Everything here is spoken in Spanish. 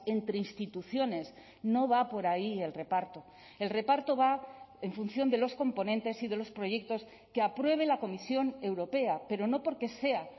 entre instituciones no va por ahí el reparto el reparto va en función de los componentes y de los proyectos que apruebe la comisión europea pero no porque sea